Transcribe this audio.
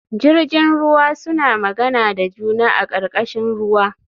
Jirjin ruwa suna magana da juna a karkashin ruwa